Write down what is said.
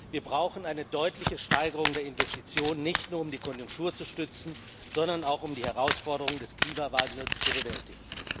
Wir brauchen eine deutliche Steigerung der Investitionen, nicht nur um die Konjunktur zu stützen, sondern auch um die Herausforderung des Klimawandels zu bewältigen.